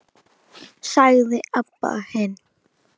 sagði Abba hin.